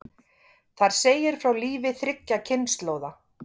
Þar segir frá lífi þriggja kynslóða.